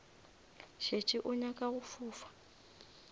šetše o nyaka go fofa